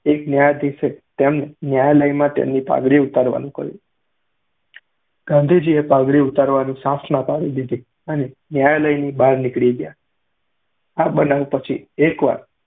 એક ન્યાયાધીશે તેમને ન્યાયાલયમાં તેમની પાઘડી ઉતારવાનું કહ્યું. ગાંધીજીએ પાઘડી ઉતારવાની સાફ ના પાડી અને ન્યાયાલયની બહાર નીકળી ગયા. આ બનાવ પછી એકવાર